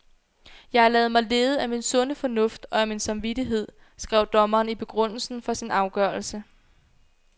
Jeg har ladet mig lede af min sunde fornuft og af min samvittighed, skrev dommeren i begrundelsen for sin afgørelse.